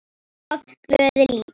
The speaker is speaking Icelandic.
Og oft glöð líka.